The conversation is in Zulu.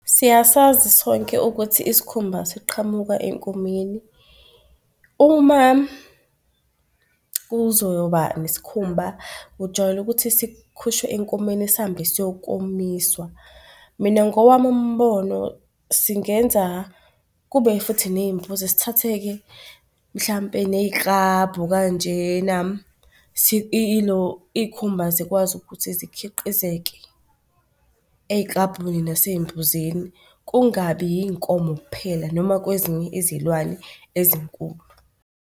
Siyasazi sonke ukuthi isikhumba siqhamuka enkomeni. Uma kuzoba nesikhumba ujwayele ukuthi sikhushwe enkomeni sihambe siyokomiswa. Mina ngowami umbono singenza kube futhi ney'mbuzi. Sithathe-ke mhlampe ney'klabhu kanjena ilo iy'khumba zikwazi ukuthi zikhiqizeke ey'klabhwini nasey'mbuzini kungabi yiy'nkomo kuphela noma kwezinye izilwane ezinkulu.